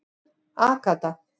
Agatha